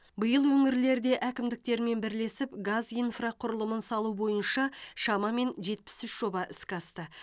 биыл өңірлерде әкімдіктермен бірлесіп газ инфрақұрылымын салу бойынша шамамен жетпіс үш жоба іске асты